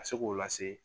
Ka se k'o lase